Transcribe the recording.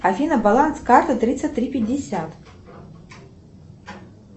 афина баланс карты тридцать три пятьдесят